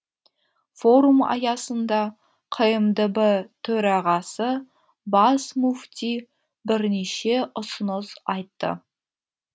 форум аясында қмдб төрағасы бас мүфти бірнеше ұсыныс айтты